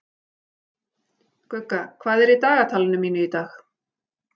Gugga, hvað er í dagatalinu mínu í dag?